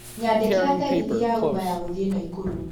nyandĩkĩra tegithi ya uber ya gũthiĩ naikuru